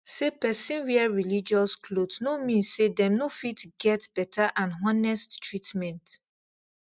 say person wear religious cloth no mean say dem no fit get better and honest treatment